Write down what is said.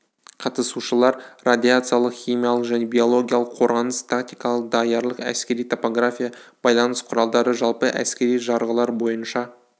қатысушылар радиациялық химиялық және биологиялық қорғаныс тактикалық даярлық әскери топография байланыс құралдары жалпы әскери жарғылар бойынша